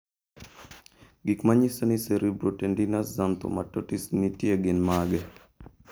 Gik manyiso ni Cerebrotendinous xanthomatosis nitie gin mage?